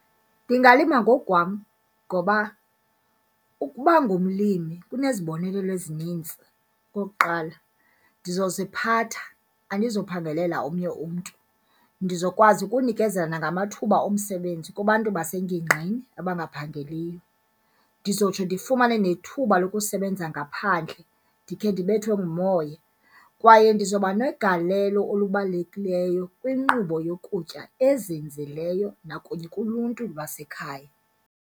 Ndingalima ngokukwam ngoba ukuba ngumlimi kunezibonelelo ezininzi. Okokuqala, ndizoziphatha andizophangelela omnye umntu. Ndizokwazi ukunikezela nangamathuba omsebenzi kubantu basengingqini abangaphangeliyo. Ndizotsho ndifumane nethuba lokusebenza ngaphandle ndikhe ndibethwe ngumoya. Kwaye ndizobanegalelo olubalulekileyo kwinkqubo yokutya ezinzileyo nakunye kuluntu lwasekhaya.